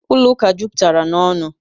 Ụlọ ụka juputara na n'onu